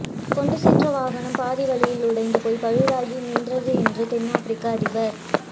கொண்டு சென்ற வாகனம் பாதி வழியில் உடைந்து போய் பழுதாகி நின்றது என்று தென்னாப்ரிக்க அதிபர்